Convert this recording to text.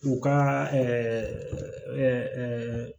U ka